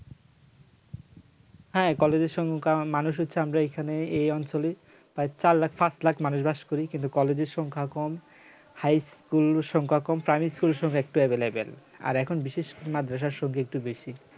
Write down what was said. হ্যাঁ, কলেজের সংখ্যা মানুষ হচ্ছে আমরা এখানে এই অঞ্চলে প্রায় চার লাখ পাঁচ লাখ মানুষ বাস করি কিন্তু কলেজের সংখ্যা কম high school সংখ্যা কম primary school এর সংখ্যা একটু available আর এখন বিশেষ মাদ্রাসা সঙ্গে একটু বেশি